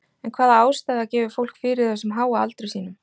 En hvaða ástæða gefur fólkið fyrir þessum háa aldri sínum?